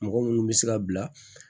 Mɔgɔ munnu bɛ se ka bila